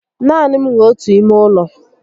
Naani m nwe ọtu ime ụlọ